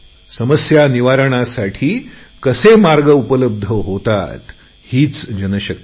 समस्या निवारणासाठी कसे मार्ग उपलब्ध होतात हीच जनशक्ती आहे